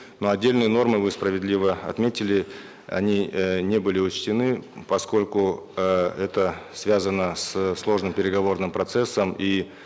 но отдельную норму вы справедливо отметили они э не были учтены поскольку э это связано со сложным переговорным процессом и